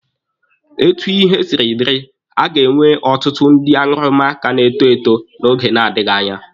Etu ihe siri dịrị, a ga-enwe ọtụtụ ndị aṅụrụma ka na-eto eto n'oge na-adịghị anya.